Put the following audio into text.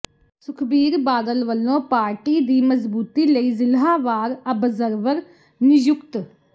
ਸੁਖਬੀਰ ਬਾਦਲ ਵੱਲੋਂ ਪਾਰਟੀ ਦੀ ਮਜ਼ਬੂਤੀ ਲਈ ਜਿਲ੍ਹਾ ਵਾਰ ਆਬਜ਼ਰਵਰ ਨਿਯੁਕਤ